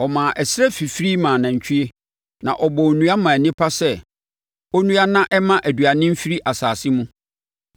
Ɔma ɛserɛ fifiri ma anantwie, na ɔbɔɔ nnua maa onipa sɛ ɔnnua na ɛmma aduane mfiri asase mu: